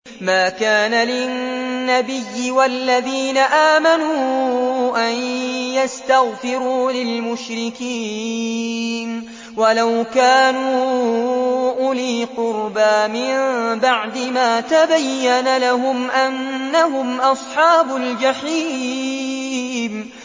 مَا كَانَ لِلنَّبِيِّ وَالَّذِينَ آمَنُوا أَن يَسْتَغْفِرُوا لِلْمُشْرِكِينَ وَلَوْ كَانُوا أُولِي قُرْبَىٰ مِن بَعْدِ مَا تَبَيَّنَ لَهُمْ أَنَّهُمْ أَصْحَابُ الْجَحِيمِ